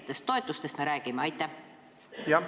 Mis toetustest me konkreetselt räägime?